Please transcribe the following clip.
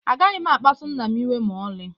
Agaghị m akpsu nna m iwe ma ọlị.